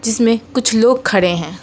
जिसमें कुछ लोग खड़े है।